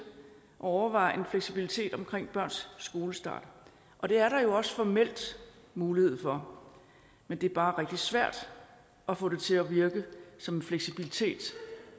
at overveje en fleksibilitet omkring børns skolestart og det er der jo også formelt mulighed for men det er bare rigtig svært at få det til at virke som en fleksibilitet